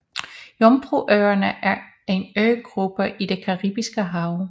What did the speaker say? Jomfruøerne er en øgruppe i det Caribiske Hav